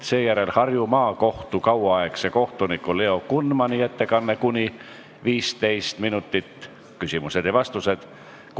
Seejärel on Harju Maakohtu kauaaegse kohtuniku Leo Kunmani ettekanne ning küsimused ja vastused .